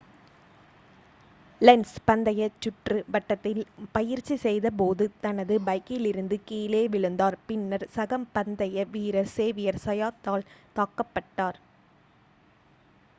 lens பந்தய சுற்று வட்டத்தில் பயிற்சி செய்தபோது தனது பைக்கிலிருந்து கீழே விழுந்தார் பின்னர் சக பந்தய வீரர் சேவியர் சயாத்தால் தாக்கப்பட்டார்